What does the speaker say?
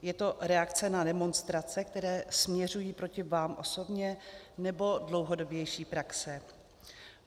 Je to reakce na demonstrace, které směřují proti vám osobně, nebo dlouhodobější praxe?